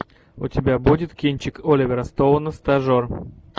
у тебя будет кинчик оливера стоуна стажер